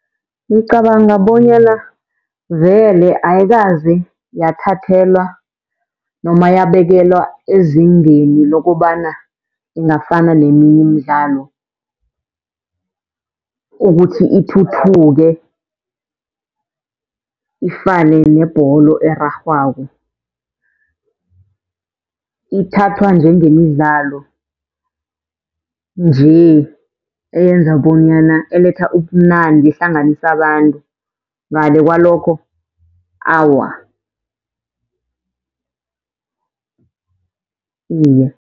Ngicabanga bonyana vele ayikaze yathathelwa noma yabekelwa ezingeni lokobana ingafana neminye imidlalo, ukuthi ithuthuke ifane nebholo erarhwako. Ithathwa njengemidlalo nje eyenza bonyana, eletha ubumnandi, ehlanganisa abantu ngale kwalokho, awa, iye.